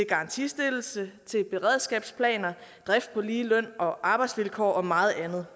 garantistillelse til beredskabsplaner drift på lige løn og arbejdsvilkår og meget andet